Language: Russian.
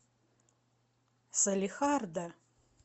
салехарда